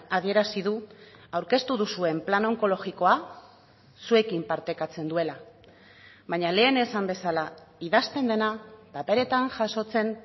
adierazi du aurkeztu duzuen plan onkologikoa zuekin partekatzen duela baina lehen esan bezala idazten dena paperetan jasotzen